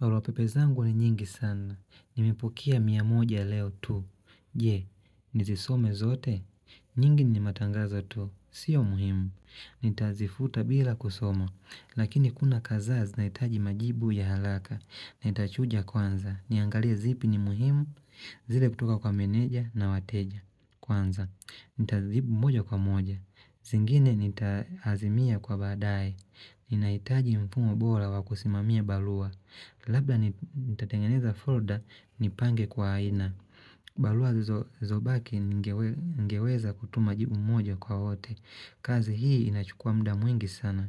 Baraupepe zangu ni nyingi sana. Nimepukea miamoja leo tu. Je, nizisome zote? Nyingi ni matangaza tu. Sio muhimu. Nita zifuta bila kusoma. Lakini kuna kazaa zinaitaji majibu ya halaka. Nitachuja kwanza. Niangalie zipi ni muhimu. Zile kutoka kwa meneja na wateja. Kwanza. Nitazijibu moja kwa moja zingine nita azimia kwa baadae Ninaitaji mfumo bola wakusimamia balua Labda nitatengeneza folder nipange kwa aina Balua zo baki ngeweza kutuma jibu moja kwa wote kazi hii inachukua muda mwingi sana